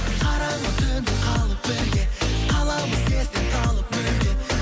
қараңғы түнде қалып бірге қаламыз естен талып мүлде